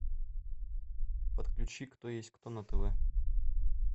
подключи кто есть кто на тв